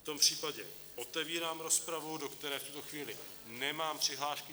V tom případě otevírám rozpravu, do které v tuto chvíli nemám přihlášky.